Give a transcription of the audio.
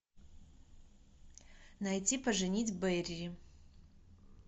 найти поженить бэрри